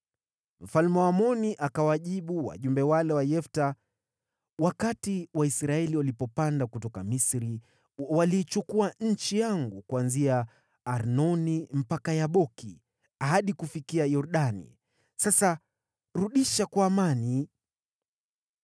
Mfalme wa Waamoni akawajibu wajumbe wale wa Yefta, “Wakati Waisraeli walipopanda kutoka Misri, waliichukua nchi yangu kuanzia Arnoni mpaka Yaboki, hadi kufikia Yordani. Sasa rudisha kwa amani.”